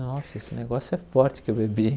Nossa, esse negócio é forte que eu bebi.